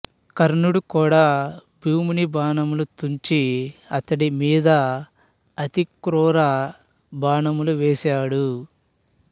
కర్ణుడు కూడా భీముని బాణములు తుంచి అతడి మీద అతి క్రూర బాణములు వేసాడు